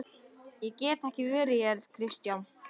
Ég get ekki verið hér.